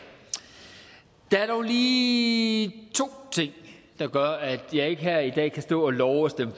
der er dog lige to ting der gør at jeg ikke her i dag kan stå og love at stemme